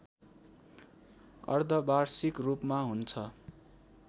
अर्धवार्षिक रूपमा हुन्छ